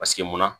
Paseke munna